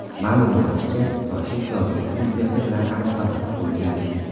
Ma’lum bo‘lishicha, Toshev Shodiyevning ukasi bilan aloqada bo‘lgan.